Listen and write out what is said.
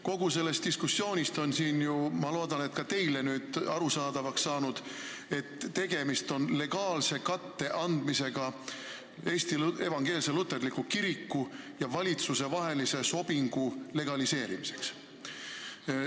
Kogu sellest diskussioonist on loodetavasti ka teile arusaadavaks saanud, et tegemist on legaalse katte andmisega Eesti Evangeelse Luterliku Kiriku ja valitsuse vahelisele sobingule.